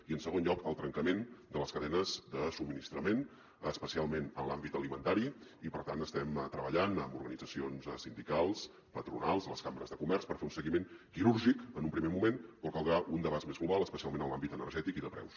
i en segon lloc el trencament de les cadenes de subministrament especialment en l’àmbit alimentari i per tant estem treballant amb organitzacions sindicals patronals les cambres de comerç per fer un seguiment quirúrgic en un primer moment però en caldrà un d’abast més global especialment en l’àmbit energètic i de preus